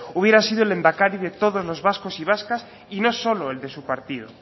hubiera sido el lehendakari de todos los vascos y vascas y no solo el de su partido